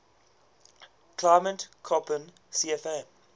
climate koppen cfa